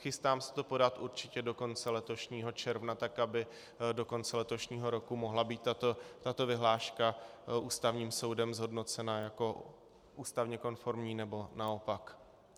Chystám se to podat určitě do konce letošního června tak, aby do konce letošního roku mohla být tato vyhláška Ústavním soudem zhodnocena jako ústavně konformní, nebo naopak.